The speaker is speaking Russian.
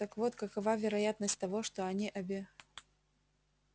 так вот какова вероятность того что они обе